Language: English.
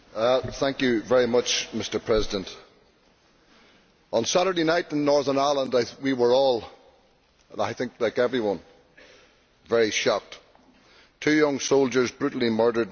Mr President, on Saturday night in Northern Ireland we were all I think, like everyone very shocked two young soldiers brutally murdered in cold blood.